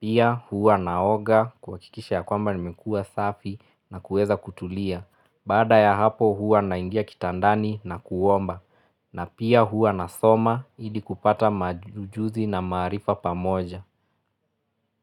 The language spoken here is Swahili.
Pia huwa naoga kuwakikisha ya kwamba nimekua safi na kueza kutulia. Baada ya hapo huwa naingia kitandani na kuomba. Na pia huwa nasoma ili kupata maujuzi na maarifa pamoja.